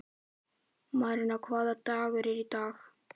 Maríanna, hvaða dagur er í dag?